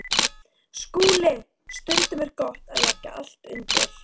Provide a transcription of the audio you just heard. SKÚLI: Stundum er gott að leggja allt undir.